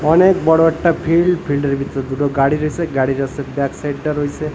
অনেক বড় একটা ফিল্ড ফিল্ড -এর ভিতর দুটো গাড়ি রইসে গাড়ির আসে ব্যাক সাইড -টা রইসে।